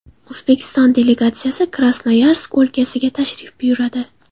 O‘zbekiston delegatsiyasi Krasnoyarsk o‘lkasiga tashrif buyuradi.